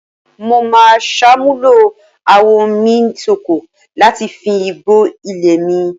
Mo máa ṣàmúlò awọ́nmisóko láti fi fín igbó ilé mi